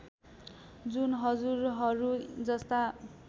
जुन हजुरहरू जस्ता